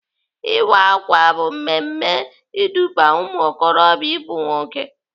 Ịwa ákwà bụ mmemme iduba ụmụokorobịa ịbụ nwoke.